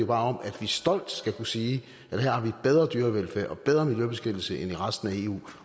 bare om at vi stolt skal kunne sige at her har vi bedre dyrevelfærd og bedre miljøbeskyttelse end i resten af eu